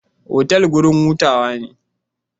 Otal wurin hutawa ne.